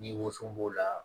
Ni woso b'o la